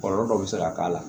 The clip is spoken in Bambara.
Kɔlɔlɔ dɔ bɛ se ka k'a la